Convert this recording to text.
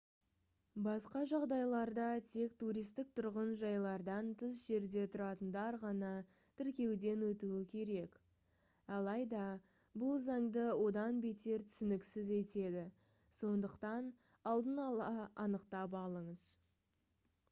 басқа жағдайларда тек туристік тұрғын жайлардан тыс жерде тұратындар ғана тіркеуден өтуі керек алайда бұл заңды одан бетер түсініксіз етеді сондықтан алдын ала анықтап алыңыз